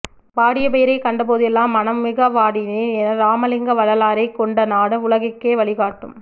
வாடிய பயிரைக் கண்டபோதெல்லாம் மனம் மிக வாடினேன் என்ற இராமலிங்க வள்ளலாரைக் கொண்ட நாடு உலகுக்கே வழிகாட்டும்